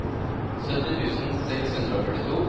sytti tusen seks hundre og førtito